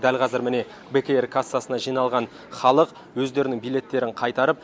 дәл қазір міне бек эйр кассасына жиналған халық өздерінің билеттерін қайтарып